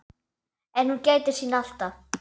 En hún gætir sín alltaf.